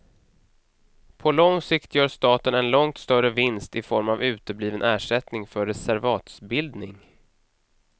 På lång sikt gör staten en långt större vinst i form av utebliven ersättning för reservatsbildning.